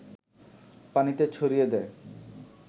পানিতে ছড়িয়ে দেয়